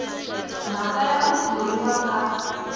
mhaka ya ku thoriwa ka